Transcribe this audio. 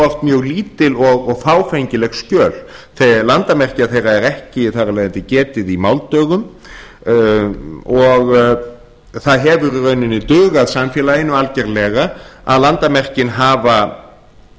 oft mjög lítil og fáfengileg skjöl þegar landamerkja þeirra er ekki þar af leiðandi getið í máldögum og það hefur í rauninni dugað samfélaginu algerlega að landamerkin